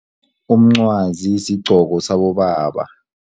Umncwazi sigqoko sabobaba.